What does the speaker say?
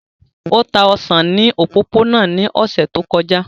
O ta osan ni opopona ni ọsẹ to kọja.